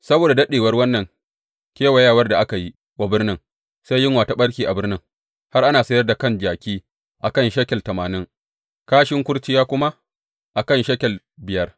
Saboda daɗewar wannan kewayewar da aka yi wa birnin, sai yunwa ta ɓarke a birnin, har ana sayar da kan jaki a kan shekel tamanin, kashin kurciya kuma a kan shekel biyar.